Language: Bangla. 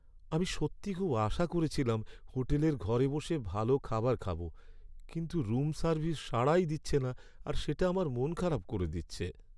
আমি সত্যিই খুব আশা করেছিলাম হোটেলের ঘরে বসে ভালো খাবার খাবো কিন্তু রুম সার্ভিস সাড়াই দিচ্ছে না আর সেটা আমার মনখারাপ করে দিচ্ছে।